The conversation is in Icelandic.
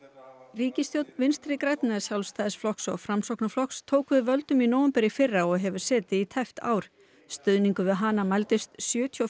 ríkisstjórn Vinstri grænna Sjálfstæðisflokks og Framsóknarflokks tók við völdum í nóvember í fyrra og hefur setið í tæpt ár stuðningur við hana mældist sjötíu